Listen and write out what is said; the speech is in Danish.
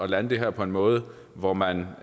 lande det her på en måde hvor man